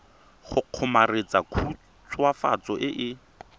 go kgomaretsa khutswafatso e e